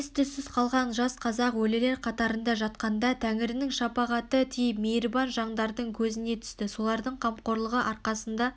ес түссіз қалған жас қазақ өлілер қатарында жатқанда тәңірінің шапағаты тиіп мейірбан жаңдардың көзіне түсті солардың қамқорлығы арқасында